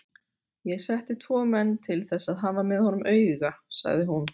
Ég setti tvo menn til þess að hafa með honum auga, sagði hún.